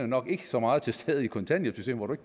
nok ikke så meget til stede i kontanthjælpssystemet hvor du